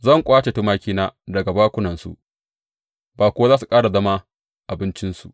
Zan ƙwace tumakina daga bakunansu, ba kuwa za su ƙara zama abincinsu.